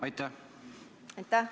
Aitäh!